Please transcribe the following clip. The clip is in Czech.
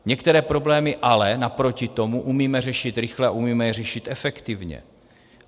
Některé problémy ale naproti tomu umíme řešit rychle a umíme je řešit efektivně.